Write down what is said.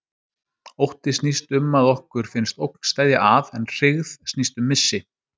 Ótti snýst um að okkur finnst ógn steðja að, en hryggð snýst um missi.